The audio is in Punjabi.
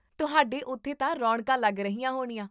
ਤੁਹਾਡੇ ਉੱਥੇ ਤਾਂ ਰੌਣਕਾਂ ਲੱਗ ਰਹੀਆਂ ਹੋਣੀਆਂ